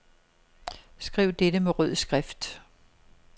Skriv dette med rød skrift.